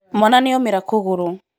mwana nĩomĩra kũgũrũ